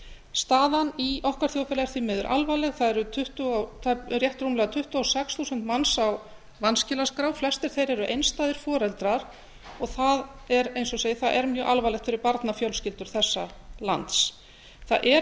staðan í okkar þjóðfélagi er því miður alvarleg það eru rétt rúmlega tuttugu og sex þúsund manns á vanskilaskrá flestir þeirra eru einstæðir foreldrar og það er eins og ég segi mjög alvarlegt fyrir barnafjölskyldur þessa lands það er